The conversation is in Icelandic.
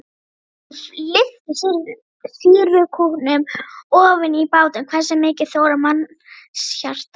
Strákurinn lyftir sýrukútnum ofan í bátinn, hversu mikið þolir mannshjartað?